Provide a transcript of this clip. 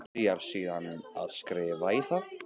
Byrjar síðan að skrifa í þá.